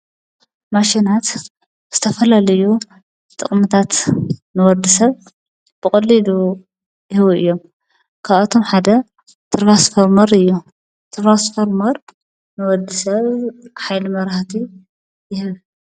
ማሽናት ዝተፈላለዩ ጥቅምታት ንወዲ ሰብ ብቀሊሉ ይህቡ እዮም። ካብኣቶም ሓደ ትራንስፎርመር እዩ። ትራንስፎርመር ንወዲ ሰብ ሓይሊ መብራህቲ ይህብ።